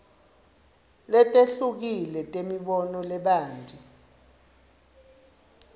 letehlukile temibono lebanti